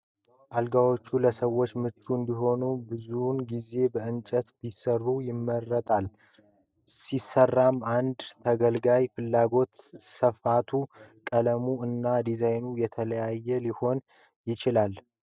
አልጋዎች ለሰዎች ምቹ እንዲሆኑ ብዙውን ጊዜ በእንጨት ቢሰሩ ይመረጣል። ሲሰራም እንደ ተገልጋዩ ፍላጎት ስፋቱ፣ ቀለሙ እና ዲዛይኑ የተለያየ ሊሆን ይችላል።